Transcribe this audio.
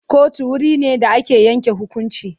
Kotu wure ne da ake yanke hukunci.